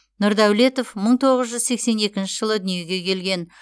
нұрдәулетов мың тоғыз жүз сексен екінші жылы дүниеге келген